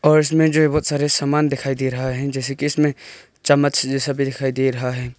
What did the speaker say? और इसमें जो हैं बहुत सारे सामान दिखाई दे रहा हैं जैसे कि इसमें चम्मच जैसा भी दिखाई दे रहा हैं।